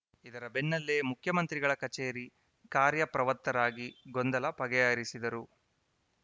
ಇದರ ಬೆನ್ನಲ್ಲೇ ಮುಖ್ಯಮಂತ್ರಿಗಳ ಕಚೇರಿ ಕಾರ್ಯಪ್ರವತ್ತರಾಗಿ ಗೊಂದಲ ಬಗೆಹರಿಸಿದರು